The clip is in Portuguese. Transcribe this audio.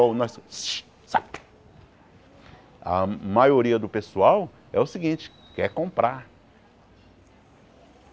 Ou nós shh sai a maioria do pessoal é o seguinte, quer comprar.